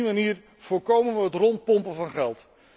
Op die manier voorkomen we het rondpompen van geld.